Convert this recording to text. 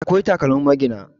akwai takalmin magina